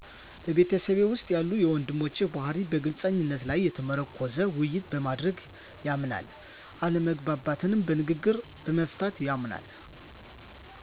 በቤተሰቤ ውስጥ ያለ የወንድሞቼ ባህርይ በግልፅነት ላይ የተመረኮዘ ውይይት በማድረግ ያምናል አለመግባባቶች በንግግር በመፍታት ያምናል።